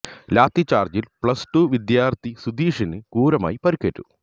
ലാത്തി ചാർജ്ജിൽ plus two വിദ്യാർത്ഥി സുധീഷിന് ക്രൂരമായി പരിക്കേറ്റു